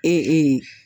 Ee